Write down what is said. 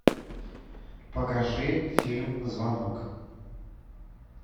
покажи фильм звонок